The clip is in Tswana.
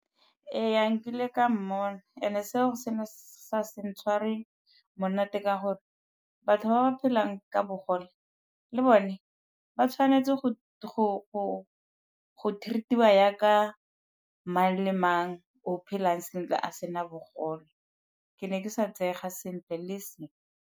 Ee, nkile ka mmona and-e seo se ne sa se ntshware monate ka gore batho ba ba phelang ka bogole le bone ba tshwanetse go go treat-iwa yaaka mang le mang o phelang sentle a sena bogole. Ke ne ke sa tseega sentle le e seng.